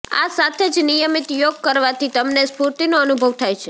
આ સાથે જ નિયમિત યોગ કરવાથી તમને સ્ફૂર્તીનો અનુભવ થાય છે